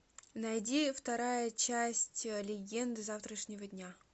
найди вторая часть легенды завтрашнего дня